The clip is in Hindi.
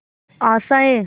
आशाएं